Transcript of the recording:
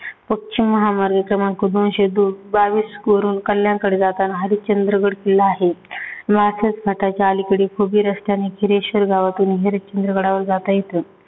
उच्च महामार्ग क्रमांक दोनशे दो बावीसवरून कल्याण कडे जातांना हरिश्चंद्रगड किल्ला आहे. नासातखताच्या अलीकडे खुबी रस्त्याने गिरीश्वर गावातून हरिश्चंद्रगडावर जाता येत.